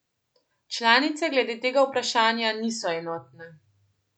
Članice glede tega vprašanja niso enotne.